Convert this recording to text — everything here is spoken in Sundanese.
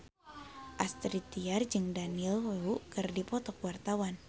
Astrid Tiar jeung Daniel Wu keur dipoto ku wartawan